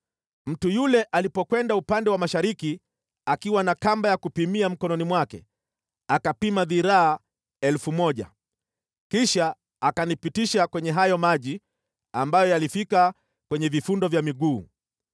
Mtu yule alipokwenda upande wa mashariki akiwa na kamba ya kupimia mkononi mwake, akapima dhiraa 1,000 kisha akanipitisha kwenye hayo maji ambayo yalifika kwenye vifundo vya miguu.